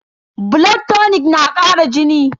Blood tonic na kara jini?